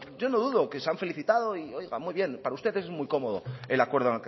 yo no dudo que se han felicitado y oiga muy bien para ustedes es muy cómodo el acuerdo